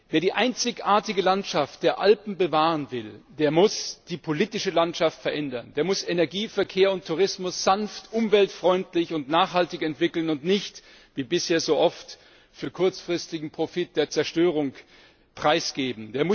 Wer die einzigartige Landschaft der Alpen bewahren will, der muss die politische Landschaft verändern, der muss Energie, Verkehr und Tourismus sanft, umweltfreundlich und nachhaltig entwickeln und nicht, wie bisher so oft, für kurzfristigen Profit der Zerstörung preisgeben.